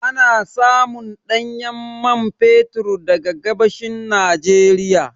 Ana samun ɗanyen man fetur daga gabashin Nijeriya